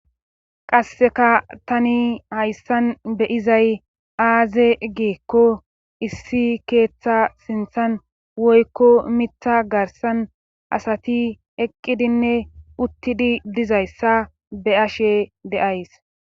qasseka tani hayssan be7izay aaze geekko issi keeththa sinthan woykko mitha garsan asati eqqidinne uttidi dizayssa be7ashe de7ays